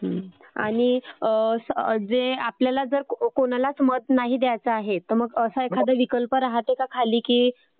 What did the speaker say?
हो आणि आपल्याला जर कोणालाच मत नाही द्यायचं आहे तर तसा एखादा विकल्प राहतो का खाली की...